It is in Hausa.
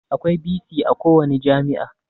Akwai bc a kowani jami'a